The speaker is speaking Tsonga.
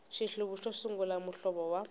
xihluvi xo sungula muhlovo wa